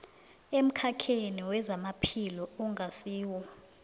emkhakheni wezamaphilo ongasiwo